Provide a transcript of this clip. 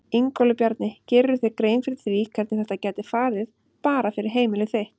Ingólfur Bjarni: Gerirðu þér grein fyrir því hvernig þetta gæti farið bara fyrir heimili þitt?